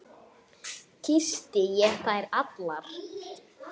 Kyssti ég þær allar.